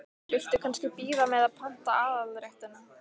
Viltu kannski bíða með að panta aðalréttina?